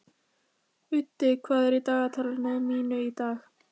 Úddi, hvað er í dagatalinu mínu í dag?